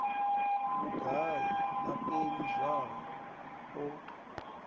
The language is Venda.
vhugai na peni zwayo o